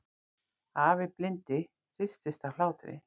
Afi blindi hristist af hlátri.